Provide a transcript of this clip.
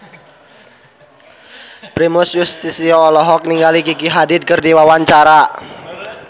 Primus Yustisio olohok ningali Gigi Hadid keur diwawancara